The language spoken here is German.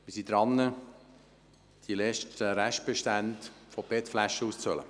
Wir sind dabei, die letzten Restbestände an PET-Flaschen aufzubrauchen.